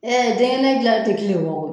Ɛɛ dɛgɛnɛ gilali te kile wɔgɔ